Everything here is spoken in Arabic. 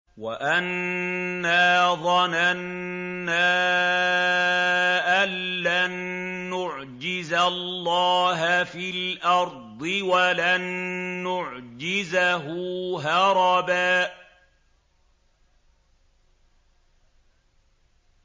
وَأَنَّا ظَنَنَّا أَن لَّن نُّعْجِزَ اللَّهَ فِي الْأَرْضِ وَلَن نُّعْجِزَهُ هَرَبًا